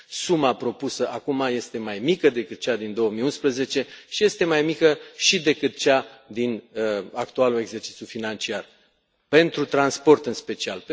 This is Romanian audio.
Suma propusă acum este mai mică decât cea din 2011 și este mai mică și decât cea din actualul exercițiu financiar, pentru transport în special.